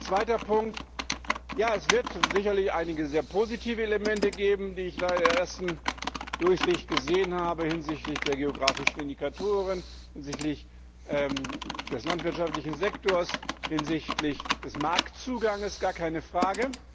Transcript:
Zweiter Punkt Ja, es wird sicherlich einige sehr positive Elemente geben, die ich bei der ersten Durchsicht gesehen habe hinsichtlich der geografischen Indikatoren, hinsichtlich des landwirtschaftlichen Sektors, hinsichtlich des Marktzugangs, gar keine Frage.